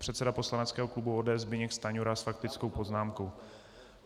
Předseda poslaneckého klubu ODS Zbyněk Stanjura s faktickou poznámkou.